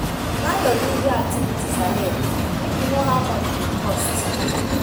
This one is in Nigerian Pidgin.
Plan your leisure activities ahead, make you know how much e go cost.